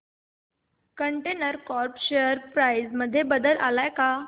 container corp share price मध्ये बदल आलाय का